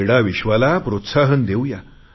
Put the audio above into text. क्रीडा विश्वाला प्रोत्साहन देऊ या